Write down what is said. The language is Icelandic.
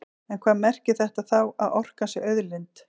En hvað merkir þetta þá, að orkan sé auðlind?